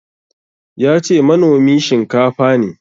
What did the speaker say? Yace manomi shinkafa ne.